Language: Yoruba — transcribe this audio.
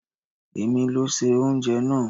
È mi ló se oúnjẹ náà.